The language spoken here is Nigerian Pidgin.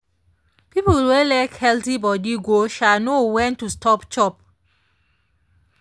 people wey like healthy body go um know when to stop chop.